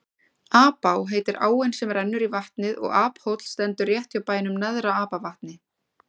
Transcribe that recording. Apá heitir áin sem rennur í vatnið og Aphóll stendur rétt hjá bænum Neðra-Apavatni.